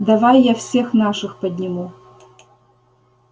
давай я всех наших подниму